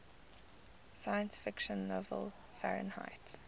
sci fi novel fahrenheit